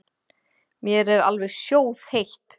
Mér er alveg sjóðheitt.